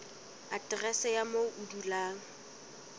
aterese ya moo o dulang